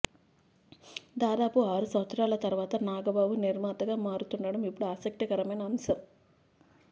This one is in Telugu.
దాదాపు ఆరు సంవత్సరాల తర్వాత నాగబాబు నిర్మాతగా మారుతుండటం ఇప్పుడు ఆసక్తికరమైన అంశం